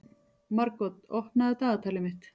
Margot, opnaðu dagatalið mitt.